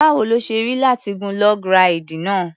Báwo ló ṣe rí láti gun log ráìdì?